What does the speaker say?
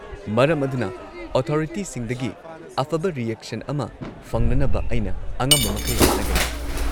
ꯃꯔꯝ ꯑꯗꯨꯅ, ꯑꯣꯊꯣꯔꯤꯇꯤꯁꯤꯡꯗꯒꯤ ꯑꯐꯕ ꯔꯤꯑꯦꯛꯁꯟ ꯑꯃ ꯐꯪꯅꯅꯕ ꯑꯩꯅ ꯑꯉꯝꯕꯃꯈꯩ ꯍꯣꯠꯅꯒꯅꯤ꯫